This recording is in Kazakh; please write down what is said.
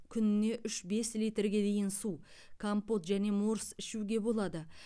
күніне үш бес литрге дейін су компот және морс ішуге болады